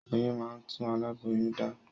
Oyún máa ń tún alaboyun dá